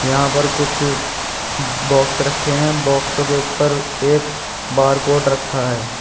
यहां पर कुछ बॉक्स रखे हैं बक्सों के ऊपर एक बारकोड रखा है।